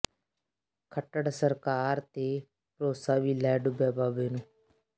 ਖੱਟੜ ਸਰਕਾਰ ਤੇ ਭਰੋਸਾ ਵੀ ਲੈ ਡੁੱਬਿਆ ਬਾਬੇ ਨੂੰ